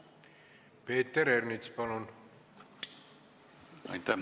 Peeter Ernits, palun!